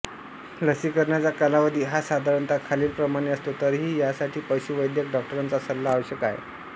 लसीकरणाचा कालावधी हा साधारणतः खालीलप्रमाणे असतो तरीही यासाठी पशुवैद्यक डॉक्टरांचा सल्ला आवश्यक आहे